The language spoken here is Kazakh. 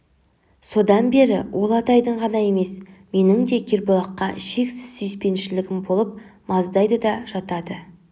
содан бері ол атайдың ғана емес менің де кербұлаққа шексіз сүйіспеншілігім болып маздайды да жатады